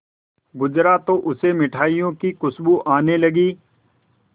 गुजरा तो उसे मिठाइयों की खुशबू आने लगी